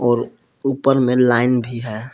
और ऊपर में लाइन भी है।